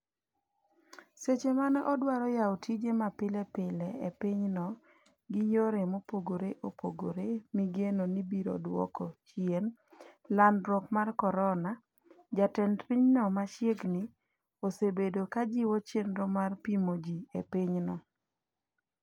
seche mane odwaro yawo tije mapile pile e pinyno gi yore mopogore opogore migeno ni biro duoko. chien landruok mar korona jatend pinyno machiegni osebedo kajiwo chenro mar pimo ji epinyno